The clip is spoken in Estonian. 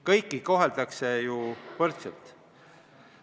Kõiki koheldakse võrdselt.